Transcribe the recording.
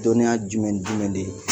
Dɔnniya jumɛn ni jumɛn de ?